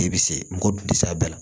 I bɛ se mɔgɔ dun tɛ se a bɛɛ la